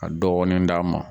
Ka dɔɔni d'a ma.